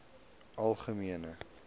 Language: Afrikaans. algemene